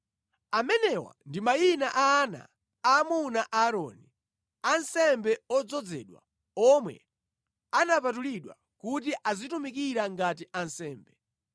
Amenewa ndi mayina a ana aamuna a Aaroni, ansembe odzozedwa omwe anapatulidwa kuti azitumikira ngati ansembe.